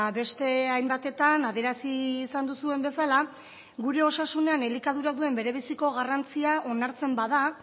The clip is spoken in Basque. beste hainbatetan adierazi izan duzuen bezala gure osasunean gure elikadura duen bere biziko garrantzia onartzen bada